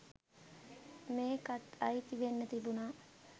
මේකත් අයිති වෙන්න තිබුණා